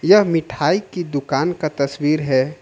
यह मिठाई की दुकान का तस्वीर है।